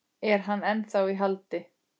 Er hann ennþá í haldi?